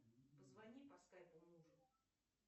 позвони по скайпу мужу